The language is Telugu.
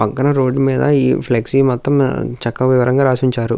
పక్కన రోడ్ మీద ఈ ఫ్లెక్సీ మొత్తం చక్కగా వివరంగా రాసి ఉంచారు.